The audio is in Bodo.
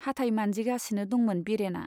हाथाइ मानजिगासिनो दंमोन बिरेना।